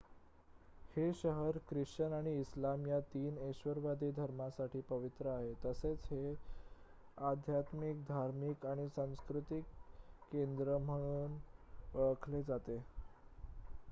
हे शहर ख्रिश्चन आणि इस्लाम या 3 एकेश्वरवादी धर्मांसाठी पवित्र आहे तसेच हे आध्यात्मिक धार्मिक आणि सांस्कृतिक केंद्र म्हणून ओळखले जाते